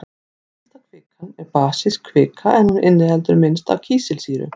Heitasta kvikan er basísk kvika en hún inniheldur minnst af kísilsýru.